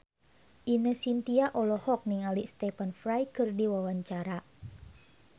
Ine Shintya olohok ningali Stephen Fry keur diwawancara